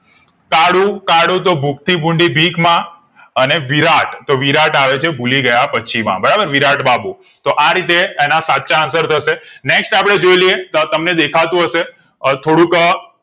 કાળું કાળું તો ભૂખથી ભૂંડી બીક માં અને વિરાટ તો વિરાટ આવેછે ભૂલી ગયા પછી માં બરાબર વિરાટબાબુ તો રીતે એના સાચા answer થશે next અપડે જોઈએ લઈએ તો તમને દેખા તું હશે અ થોડુંક અ